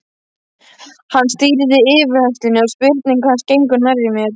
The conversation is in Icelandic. Hann stýrði yfirheyrslunni og spurningar hans gengu nærri mér.